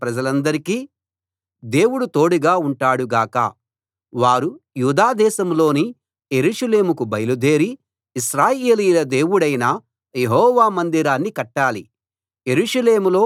మీలో ఆయన ప్రజలందరికీ దేవుడు తోడుగా ఉంటాడు గాక వారు యూదా దేశంలోని యెరూషలేముకు బయలుదేరి ఇశ్రాయేలీయుల దేవుడైన యెహోవా మందిరాన్ని కట్టాలి